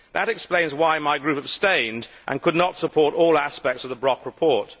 That explains why my group abstained and could not support all aspects of the Brok report.